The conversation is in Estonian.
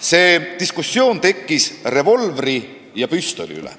See diskussioon tekkis revolvri ja püstoli üle.